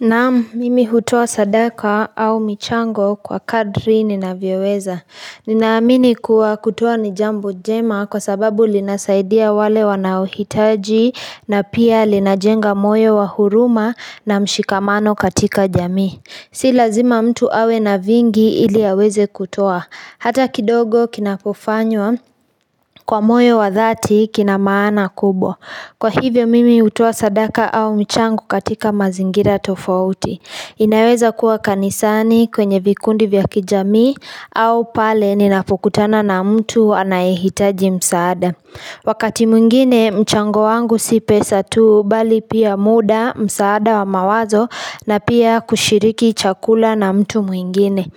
Naam, mimi hutoa sadaka au michango kwa kadri ninavyoweza. Ninaamini kuwa kutoa ni jambo njema kwa sababu linasaidia wale wanaohitaji na pia linajenga moyo wa huruma na mshikamano katika jamii. Si lazima mtu awe na vingi ili aweze kutoa. Hata kidogo kinapofanywa kwa moyo wa dhati kina maana kubwa. Kwa hivyo mimi hutoa sadaka au michango katika mazingira tofauti inaweza kuwa kanisani kwenye vikundi vya kijamii au pale ninapokutana na mtu anayehitaji msaada Wakati mwingine mchango wangu si pesa tu bali pia mda msaada wa mawazo na pia kushiriki chakula na mtu mwingine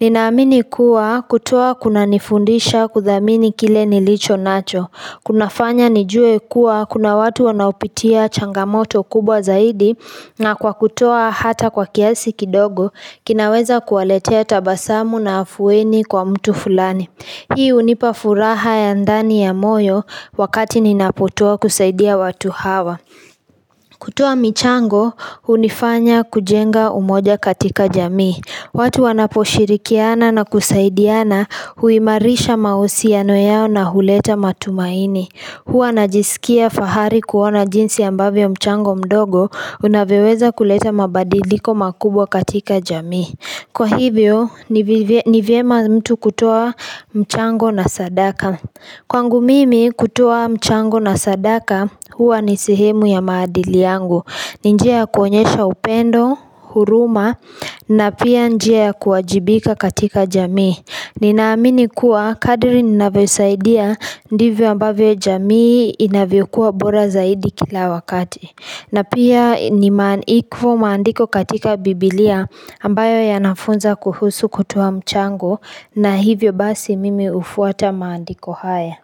Ninaamini kuwa kutoa kunanifundisha kudhamini kile nilicho nacho kunafanya nijue kuwa kuna watu wanaopitia changamoto kubwa zaidi na kwa kutoa hata kwa kiasi kidogo kinaweza kuwaletea tabasamu na afueni kwa mtu fulani. Hii hunipa furaha ya ndani ya moyo wakati ninapotoa kusaidia watu hawa. Kutoa michango hunifanya kujenga umoja katika jamii. Watu wanaposhirikiana na kusaidiana huimarisha mahusiano yao na huleta matumaini. Huwa najisikia fahari kuona jinsi ambavyo mchango mdogo unavyoweza kuleta mabadiliko makubwa katika jamii Kwa hivyo, ni vye ni vyema mtu kutoa mchango na sadaka Kwangu mimi kutoa mchango na sadaka Huwa ni sehemu ya maadili yangu ni njia ya kuonyesha upendo, huruma na pia njia ya kuajibika katika jamii Ninaamini kuwa kadri ninavyosaidia Ndivyo ambavyo jamii inavyokuwa bora zaidi kila wakati na pia ni maandi maandiko katika bibilia ambayo yanafunza kuhusu kutoa mchango na hivyo basi mimi hufuata maandiko haya.